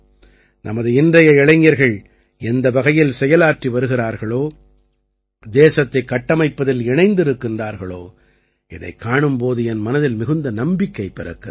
நமது இன்றைய இளைஞர்கள் எந்த வகையில் செயலாற்றி வருகிறார்களோ தேசத்தைக் கட்டமைப்பதில் இணைந்திருக்கின்றார்களோ இதைக் காணும் போது என் மனதில் மிகுந்த நம்பிக்கை பிறக்கிறது